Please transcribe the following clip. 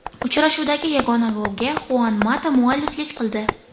Uchrashuvdagi yagona golga Xuan Mata mualliflik qildi.